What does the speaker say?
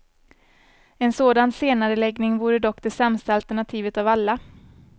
En sådan senareläggning vore dock det sämsta alternativet av alla.